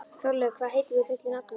Þórleifur, hvað heitir þú fullu nafni?